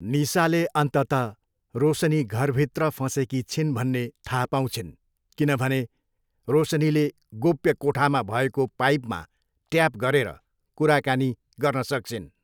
निसाले अन्ततः रोसनी घरभित्र फँसेकी छिन् भन्ने थाहा पाउँछिन् किनभने रोसनीले गोप्य कोठामा भएको पाइपमा ट्याप गरेर कुराकानी गर्न सक्छिन्।